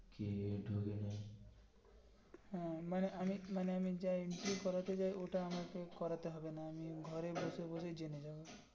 হম মানে আমি মানে আমি যায়নি কিছু করতে যাই ওটা আমাকে করতে হবে না ঘরে বসে বসেই জেনে যাবো.